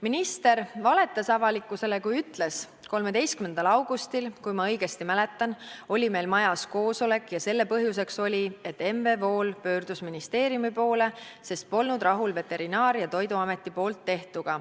Minister valetas avalikkusele, kui ütles: "13. augustil, kui ma õigesti mäletan, oli meil majas koosolek ja selle põhjuseks oli, et M. V. Wool pöördus ministeeriumi poole, sest polnud rahul veterinaar- ja toiduameti poolt tehtuga.